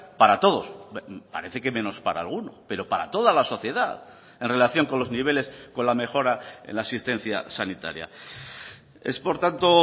para todos parece que menos para alguno pero para toda la sociedad en relación con los niveles con la mejora en la asistencia sanitaria es por tanto